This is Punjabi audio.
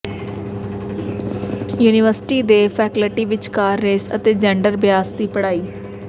ਯੂਨੀਵਰਸਿਟੀ ਦੇ ਫੈਕਲਟੀ ਵਿਚਕਾਰ ਰੇਸ ਅਤੇ ਜੈਂਡਰ ਬਿਆਸ ਦੀ ਪੜ੍ਹਾਈ